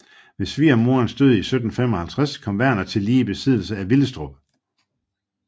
Ved svigermoderens død 1755 kom Werner tillige i besiddelse af Willestrup